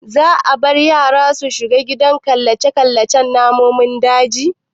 Za a bar yara su shiga gidan killace namun dajin?